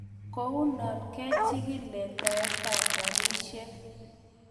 Kounon kechikil letaet tab rapishek.